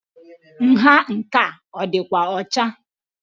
Nha nke a adi6kwa ọcha?